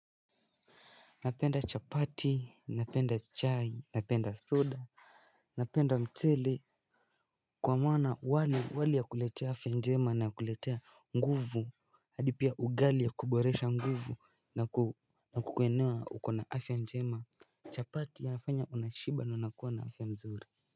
Napenda chapati, napenda chai, napenda soda Napenda mchele kwa maana wali ya kuletea afya njema na kuletea nguvu hadi pia ugali ya kuboresha nguvu na kukuinua ukue na afya njema chapati yanifanya unashiba na unakuwa na afya mzuri.